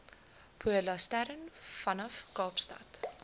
polarstern vanaf kaapstad